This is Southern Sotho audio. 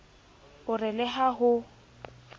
o re le ha ho